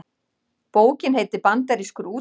Bókin heitir Bandarískur útlagi